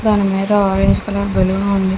దాని మిద orange colour balloon ఉంది.